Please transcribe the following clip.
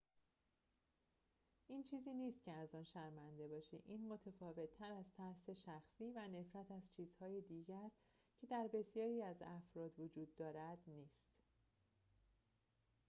این چیزی نیست که از آن شرمنده باشی این متفاوت از ترس شخصی و نفرت از چیزهای دیگر که در بسیاری از افراد وجود دارد نیست